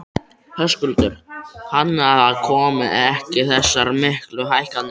Höskuldur: Þannig að það komi ekki þessar miklu hækkanir?